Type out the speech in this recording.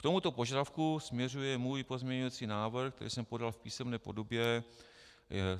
K tomuto požadavku směřuje můj pozměňovací návrh, který jsem podal v písemné podobě.